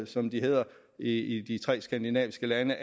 som de hedder i de tre skandinaviske lande